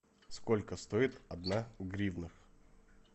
сколько стоит одна гривна